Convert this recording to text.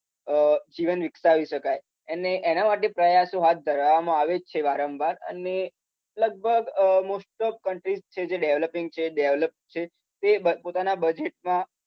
જીવન વીકાસવી શકાય. અને એના માટે પ્રયાસો હાથ ધરવામાં જ આવે છે વારંવાર. અને લગભગ મોસ્ટ ઓફ કન્ટ્રીસ છે જે ડેવલપીંગ છે ડેવલપ છે. તે પોતાના બધા બજેટમાં